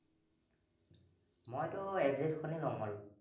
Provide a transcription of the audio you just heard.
মইটো F jet খনে লম আৰু